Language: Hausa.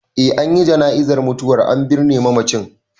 Eh an yi jana'izar mutuwar, an binne mamacin.